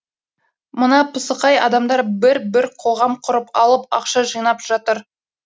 мына пысықай адамдар бір бір қоғам құрып алып ақша жинап жатыр